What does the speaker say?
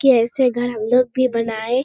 के ऐसे घर हम लोग भी बनए।